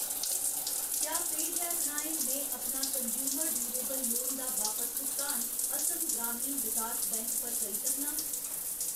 क्या पेऽजैप राहें में अपना कनज्यूमर ड्यूरेबल लोन दा बापस भुगतान असम ग्रामीण विकास बैंक पर करी सकनां ?